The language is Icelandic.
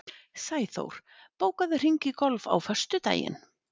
Sæþór, bókaðu hring í golf á föstudaginn.